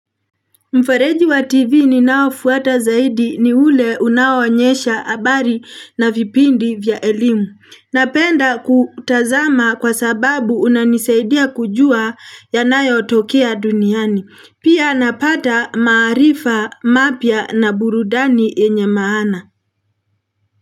Mfereji wa TV ninaofuata zaidi ni ule unawanyesha habari na vipindi vya elimu. Napenda kutazama kwa sababu unanisaidia kujua yanayotokea duniani. Pia napata maarifa mapya na burudani yenye maana.